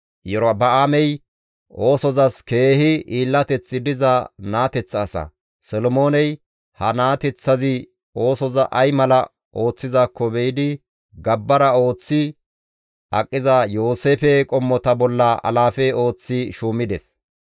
Iyorba7aamey oosozas keehi hiillateththi diza naateththa asa; Solomooney ha naateththazi oosoza ay mala ooththizaakko be7idi gabbara ooththi aqiza Yooseefe qommota bolla alaafe ooththi shuumides.